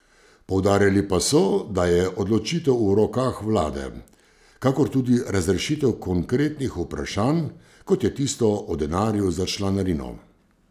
Poudarili pa so, da je odločitev v rokah vlade, kakor tudi razrešitev konkretnih vprašanj, kot je tisto o denarju za članarino.